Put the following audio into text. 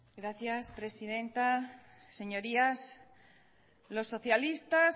gracias presidenta señorías los socialistas